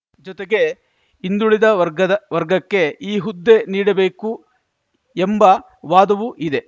ಜೊತೆಗೆ ಹಿಂದುಳಿದ ವರ್ಗದ ವರ್ಗಕ್ಕೆ ಈ ಹುದ್ದೆ ನೀಡಬೇಕು ಎಂಬ ವಾದವೂ ಇದೆ